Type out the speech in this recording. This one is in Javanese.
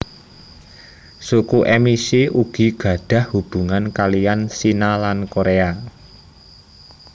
Suku Emishi ugi gadhah hubungan kalihan Shina lan Korea